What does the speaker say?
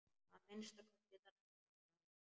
Að minnsta kosti þann dag.